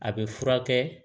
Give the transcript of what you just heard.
A bɛ furakɛ